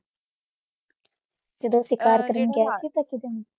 ਜਦੋਂ ਸ਼ਿਕਾਰ ਕਰਨ ਗਯਾ ਸੀ